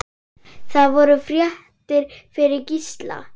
Það voru fréttir fyrir Gísla.